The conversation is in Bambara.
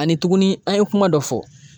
Ani tuguni an ye kuma dɔ fɔ.